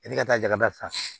E ka taa jaga ta